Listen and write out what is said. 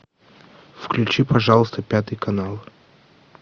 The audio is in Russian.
включи пожалуйста пятый канал